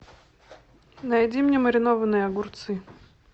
найди мне маринованные огурцы